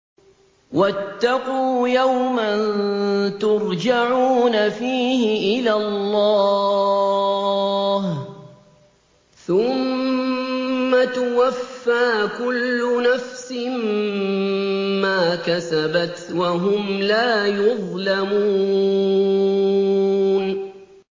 وَاتَّقُوا يَوْمًا تُرْجَعُونَ فِيهِ إِلَى اللَّهِ ۖ ثُمَّ تُوَفَّىٰ كُلُّ نَفْسٍ مَّا كَسَبَتْ وَهُمْ لَا يُظْلَمُونَ